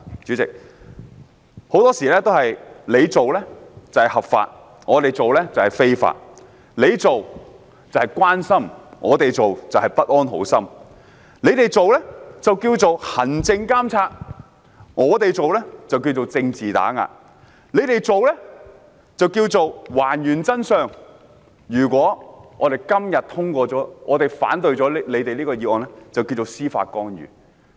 主席，很多事情他們做是合法的，但我們做就是非法；他們做是關心，但我們做就是不安好心；他們做稱為行政監察，但我們做就是政治打壓；他們做是還原真相，但如果我們今天反對議案就是司法干預。